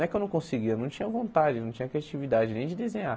Não é que eu não conseguia, eu não tinha vontade, não tinha criatividade nem de desenhar.